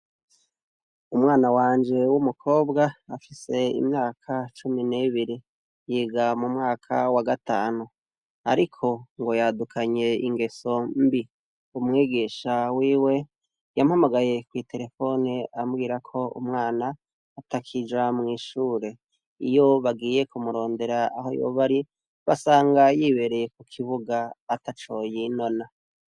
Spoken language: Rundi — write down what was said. Umwana wanje w'umukobwa afise imyaka cumi n'ebiri yiga mu mwaka wa gatanu, ariko ngo yadukanye ingeso mbi umwegesha wiwe yampamagaye kw'itelefoni ambwira ko umwana atakija mw'ishure iyo bagiye kumurondera aho yoba ari basanga yibereye ku kibuga ataco yinona.